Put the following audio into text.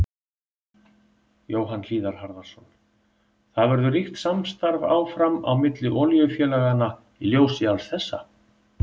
Jóhann Hlíðar Harðarson: Það verður ríkt samstarf áfram á milli olíufélaganna í ljósi alls þessa?